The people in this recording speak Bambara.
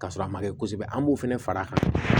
Ka sɔrɔ a ma kɛ kosɛbɛ an b'o fana fara a kan